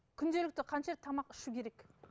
күнделікті қанша рет тамақ ішу керек